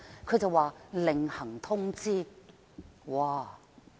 它說另行通知。